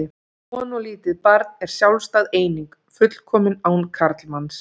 Kona og lítið barn er sjálfstæð eining, fullkomin án karlmanns.